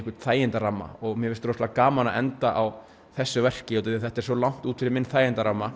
þægindaramma mér finnst rosalega gaman að enda á þessu verki þetta er svo langt út fyrir minn þægindaramma